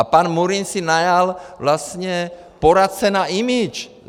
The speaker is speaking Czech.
A pan Murín si najal vlastně poradce na image!